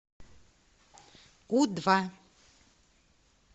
у два